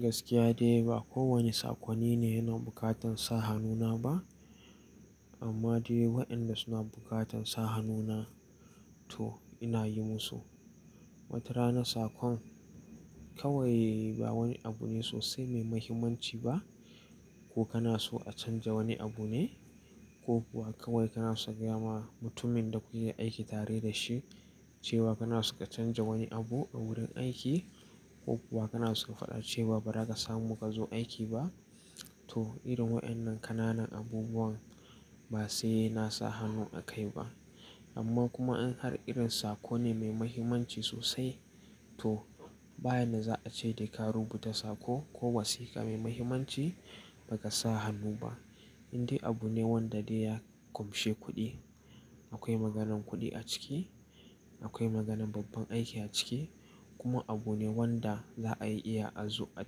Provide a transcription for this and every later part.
Gaskiya dai ba kowane sakonine yana bukatan sa hannu na ba. Amma dai waɗanda suna bukatan sa hannu na to ina yi musu. Wata rana sakon kawai ba wani abu ne sosai mai mahimmanci ba, ko kana so a canja wani abu ne, ko kuwa kawai kana so ka gaya ma mutumin da kuke aiki tare da shi cewa kana so ka canja wani abu a wurin aiki, ko kuwa kana so ka faɗa cewa ba za ka samu ka zo aiki ba. To irin waɗannan ƙananan abubuwan ba sai na sa hannu a kai ba. Amma kuma in har irin sakon ne mai mahimmanci sosai to ba inda za a ce da ka rubuta sako ko wasiƙa mai mahimmanci baka sa hannu ba. Indai abu ne wanda dai ya ƙunshe kuɗi. Akwai maganan kuɗi a ciki, akwai maganan babban aiki a ciki kuma abu ne wanda za a iya a zo a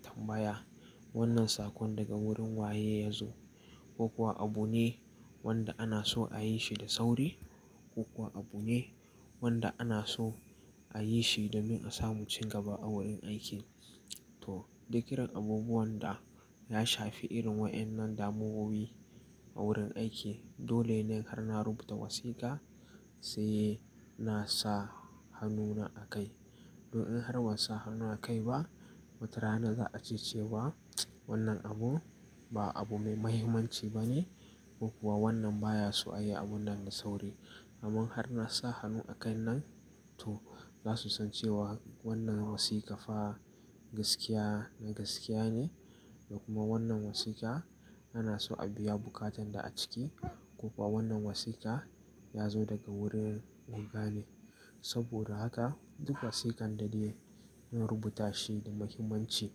tambaya wannan sakon daga wurin waye ya zo, ko kuwa abu ne wanda ana so a yi shi da sauri, ko kuwa abu ne wanda ana so a yi shi domin a samu cigaba a wurin aiki. To duk irin abubuwan da ya shafi irin waɗannan damuwowi a wurin aiki, dole ne har na rubuta wasiƙa sai na sa hannuna a kai. Don in har ban sa hannu a kai ba, wata rana za a ce cewa wannan abu ba abu mai mahimmanci ba ne ko kuwa wannan baya so a yi abun nan da sauri. Amman har na sa hannu a kai nan to za su san cewa wannan wasiƙa fa gaskiya na gaskiya ne da kuma wannan wasiƙa ana so a biya bukatan da a ciki ko kuwa wannan wasiƙa ya zo daga wurin guga ne. Saboda haka duk wasiƙan da dai na rubuta shi da muhimmanci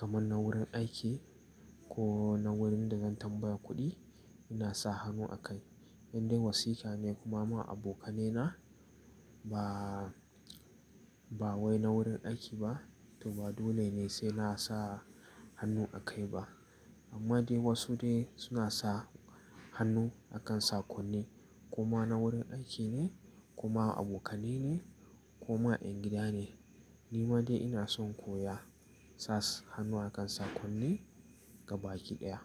kaman na wurin aiki ko na wurin da zan tambaya kuɗi ina sa hannu a kai. Indai wasiƙa ne kuma ma abokanai na ba, ba wai na wurin aiki ba to ba dole ne sai na sa hannu a kai ba. Amma dai wasu dai suna sa hannu a kan sakonni kuma na wurin aiki ne kuma abokanai ne kuma 'yan gida ne. Ni ma dai ina son koya sa hannu a kan sakonni gabaki ɗaya.